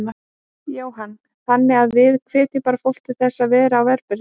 Jóhann: Þannig að við hvetjum bara fólk til þess að vera á varðbergi?